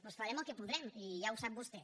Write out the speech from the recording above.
doncs farem el que podrem i ja ho sap vostè